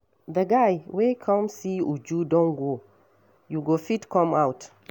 The guy wey come see Uju don go. You go fit come out.